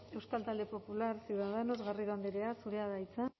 euskal talde popular ciudadanos garrido andrea zurea da hitza